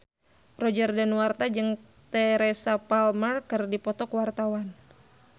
Roger Danuarta jeung Teresa Palmer keur dipoto ku wartawan